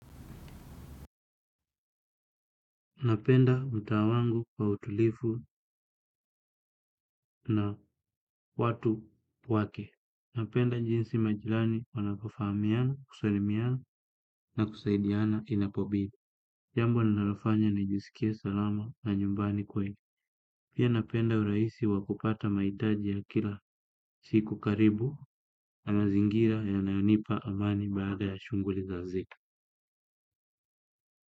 Napenda mtaa wangu kwa utulivu na watu wake. Napenda jinsi majirani wanapofahamiana, kusalimiana na kusaidiana inapobidi. Jambo linalofanya najisikia salama na nyumbani kweli. Pia napenda urahisi wa kupata mahitaji ya kila siku karibu na mazingira yanayonipa amani baada ya shughuli za zika.